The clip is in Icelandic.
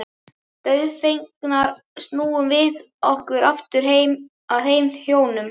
Dauðfegnar snúum við okkur aftur að þeim hjónum.